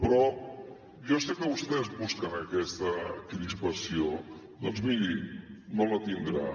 però jo sé que vostès busquen aquesta crispació doncs miri no la tindran